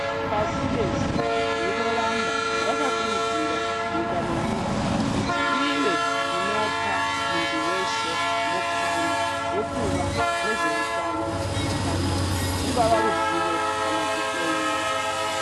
Pasirese rinoramba rakakurudzira nyika nenyika kuti ive inopa muntu weshe mukana wekuva nezveutano zvakanaka, rungava ruzivo kana kuhloiwa.